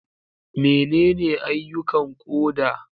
Menene ayyukan koda?